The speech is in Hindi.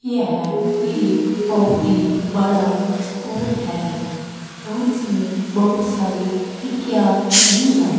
यह एक बहुत ही बड़ा अस्कुल है और इसमें बहुत सारी खिड़कियां भी है।